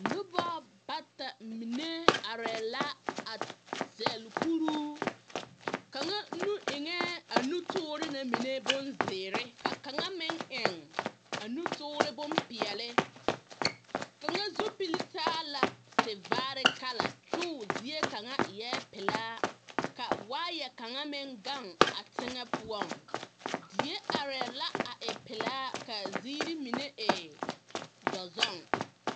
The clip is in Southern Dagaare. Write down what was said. Noba bata mine arԑԑ la a zԑle kuruu. Kaŋa nu eŋԑԑ a nutoore na mine bonzeere ka kaŋ meŋ eŋ a nutoore bompeԑle. Kaŋa zupili taa la tevaare kala kyoo zie kaŋa eԑԑ pelaa ka waayԑ kaŋa meŋ gaŋ a teŋԑ poͻŋ. Die arԑԑ la a e pelaa kaa ziiri mine e dͻzͻŋ.